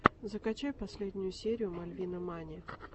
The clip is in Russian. закачай последнюю серию мальвинамани